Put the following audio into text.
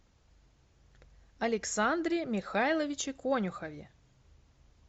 александре михайловиче конюхове